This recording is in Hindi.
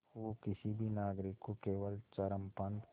वो किसी भी नागरिक को केवल चरमपंथ